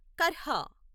కర్హా